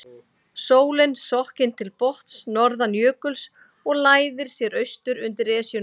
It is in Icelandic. Sólin sokkin til botns norðan jökuls og læðir sér austur undir Esjuna.